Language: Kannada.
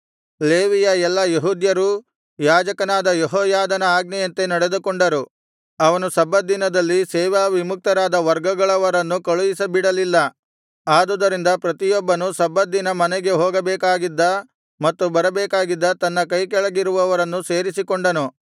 ಲೇವಿಯ ಎಲ್ಲಾ ಯೆಹೂದ್ಯರೂ ಯಾಜಕನಾದ ಯೆಹೋಯಾದನ ಆಜ್ಞೆಯಂತೆ ನಡೆದುಕೊಂಡರು ಅವನು ಸಬ್ಬತ್ ದಿನದಲ್ಲಿ ಸೇವಾ ವಿಮುಕ್ತರಾದ ವರ್ಗಗಳವರನ್ನು ಕಳುಹಿಸಿಬಿಡಲಿಲ್ಲ ಆದುದರಿಂದ ಪ್ರತಿಯೊಬ್ಬನು ಸಬ್ಬತ್ ದಿನ ಮನೆಗೆ ಹೋಗಬೇಕಾಗಿದ್ದ ಮತ್ತು ಬರಬೇಕಾಗಿದ್ದ ತನ್ನ ಕೈಕೆಳಗಿನವರನ್ನು ಸೇರಿಸಿಕೊಂಡನು